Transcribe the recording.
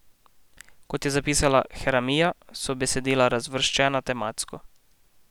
Kot je zapisala Haramija, so besedila razvrščena tematsko.